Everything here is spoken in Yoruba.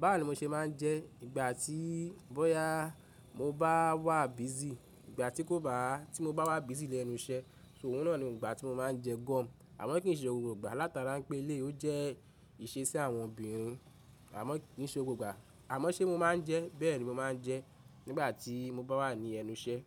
ba wo ni mo ṣe máa ń jẹ, ìgbà tí bọ́yá mo bá wà busy, ìgbà tí kò bá tí mo bá wà busy lẹ́nu iṣẹ́. So òun náà ni ìgbà tí mo máa ń jẹ gọ́ọ̀mù. Àmọ́ kì í ṣe gbogbo ìgbà látara pé eleyi ó jẹ́ ìṣesẹ́ àwọn obìnrin. Àmọ́ kì í ṣe gbogbo ìgbà. Àmọ́ ṣé mo máa ń jẹ? Bẹ́ẹ̀ni, mo máa ń jẹ nígbà tí mo bá wà ní ẹnu iṣẹ́